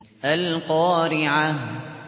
الْقَارِعَةُ